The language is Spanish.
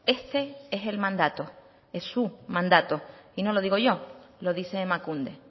este es el mandato es su mandato y no lo digo yo lo dice emakunde